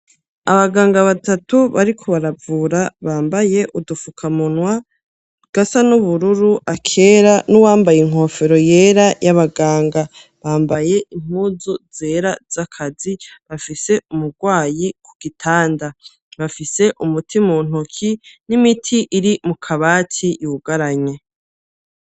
Abaganga batatu bariko baravura bambaye udufukamunwa. Gasa n'ubururu akera n'uwambaye inkofero yera y'abaganga bambaye impuzu zera z'akazi bafise umurwayi ku gitanda, bafise umutima untoki n'imiti iri mu kabati yugaranye.